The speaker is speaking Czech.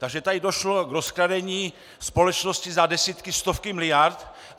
Takže tady došlo k rozkradení společnosti za desítky, stovky miliard.